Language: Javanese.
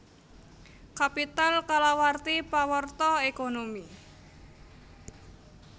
Capital kalawarti pawarta ékonomi